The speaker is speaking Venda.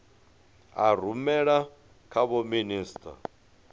a rumela kha vho minisita